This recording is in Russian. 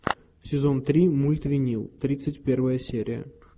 сезон три мульт винил тридцать первая серия